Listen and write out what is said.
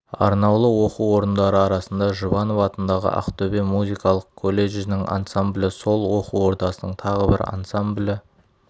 арнаулы оқу орындары арасында жұбанов атындағы ақтөбе музыкалық колледжінің ансамблі сол оқу ордасының тағы бір ансамблі